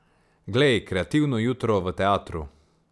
Glej, kreativno jutro v teatru!